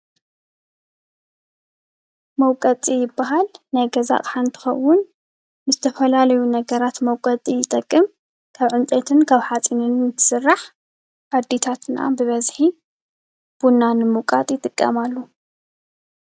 መውቀጢ ይብሃል። ናይ ገዛ ኣቁሑ እንትኸውን ንዝተፈላለዩ ነገራት መውቀጢ ይጠቅም። ካብ ዕንጨይቲን ካብ ሓፂንን ዝስራሕ ኣዴታት ብበዝሒ ቡና ንምውቃጥ ይጥቀማሉ።